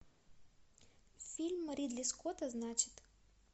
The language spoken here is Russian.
фильм ридли скотта значит